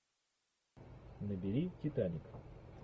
набери титаник